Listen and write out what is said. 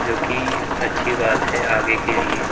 जो कि अच्छी बात है आगे के लिए--